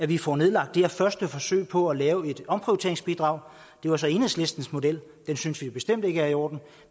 vi får nedlagt det her første forsøg på at lave et omprioriteringsbidrag det var så enhedslistens model den synes vi bestemt ikke er i orden